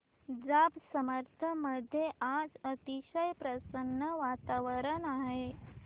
जांब समर्थ मध्ये आज अतिशय प्रसन्न वातावरण आहे